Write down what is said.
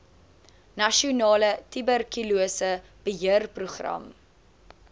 nasionale tuberkulose beheerprogram